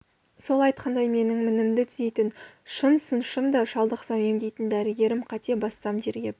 сол айтқандай менің де мінімді түзейтін шын сыншым да шалдықсам емдейтін дәрігерім қате бассам тергеп